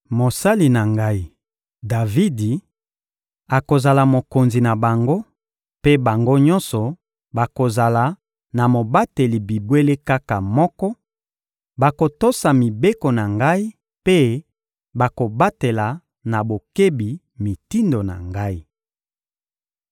Mosali na Ngai, Davidi, akozala mokonzi na bango, mpe bango nyonso bakozala na mobateli bibwele kaka moko, bakotosa mibeko na Ngai mpe bakobatela na bokebi mitindo na Ngai.